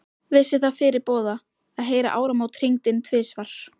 Vissi það fyrirboða, að heyra áramót hringd inn tvisvar.